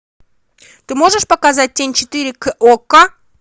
ты можешь показать тень четыре к окко